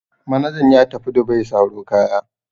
Manajan ya tafi Dubai saro kaya.